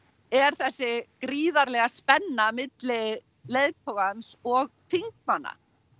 er þessi gríðarlega spenna milli leiðtogans og þingmanna